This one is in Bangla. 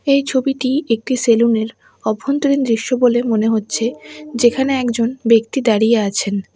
এই ছবিটি একটি সেলুনের অভ্যন্তরীণ দৃশ্য বলে মনে হচ্ছে যেখানে একজন ব্যক্তি দাঁড়িয়ে আছেন।